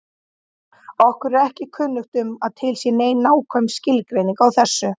Okkur er ekki kunnugt um að til sé nein nákvæm skilgreining á þessu.